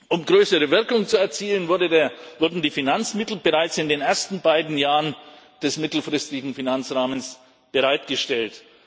Um größere Wirkung zu erzielen, wurden die Finanzmittel bereits in den ersten beiden Jahren des mittelfristigen Finanzrahmens bereitgestellt.